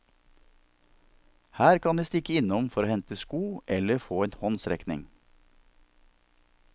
Her kan de stikke innom for å hente sko eller få en håndsrekning.